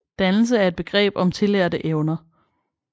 Dannelse er et begreb om tillærte evner